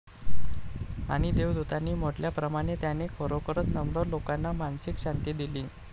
आणि देवदूतांनी म्हटल्याप्रमाणे त्याने खरोखरच नम्र लोकांना मानसिक शांती दिली.